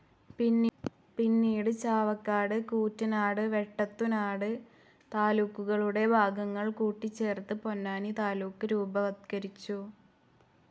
പിന്നീട് ചാവക്കാട്, കൂറ്റനാട്, വെട്ടത്തുനാട് താലൂക്കുകളുടെ ഭാഗങ്ങൾ കൂട്ടിച്ചേർത്ത് പൊന്നാനി താലൂക്ക് രൂപവത്കരിച്ചു.